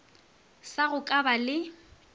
sa go ka ba le